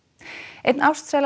einn